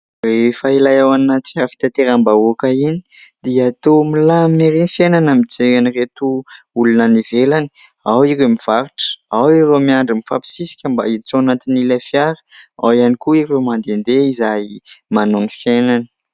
Rehefa ilay ao anaty fitateram-bahoaka iny dia toa milamina erỳ ny fiainana mijery an'ireto olona any ivelany : ao ireo mivarotra, ao ireo miandry mifampisisika mba hiditra ao anatin'ilay fiara, ao ihany koa ireo mandehandeha izay manao ny fiainany.